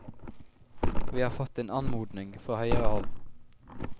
Vi har fått en anmodning fra høyere hold.